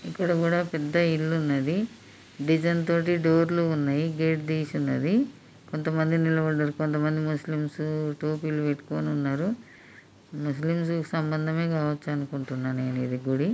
ఇక్కడ కూడా పెద్ద ఇల్లు ఉన్నది బెడం తోటి డోర్ లు ఉన్నవి గేటు తీసి ఉన్నది కొంత మంది నిలబడ్డారు కొంత మంది టోపీలు పెట్టుకొని ఉన్నారు ముస్లిం కు సంబంధమే కావచ్చు అనుకుంటున్నా గుడి.